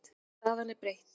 Staðan er breytt.